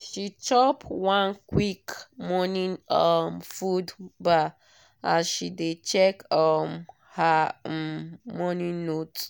she chop one quick morning um food bar as she dey check um her um morning notes.